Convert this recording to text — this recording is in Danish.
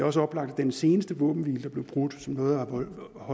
også oplagt at den seneste våbenhvile der blev brudt og som nåede